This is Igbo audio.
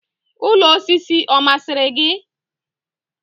Ụlọ osisi ọ masịrị gị?